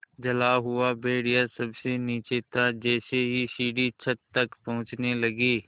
जला हुआ भेड़िया सबसे नीचे था जैसे ही सीढ़ी छत तक पहुँचने लगी